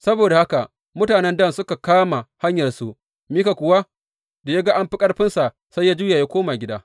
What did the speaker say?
Saboda haka mutanen Dan suka kama hanyarsu, Mika kuwa da ya ga an fi ƙarfinsa, sai ya juya ya koma gida.